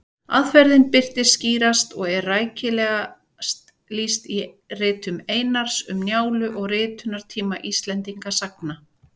Aðferðin birtist skýrast og er rækilegast lýst í ritum Einars, Um Njálu og Ritunartími Íslendingasagna.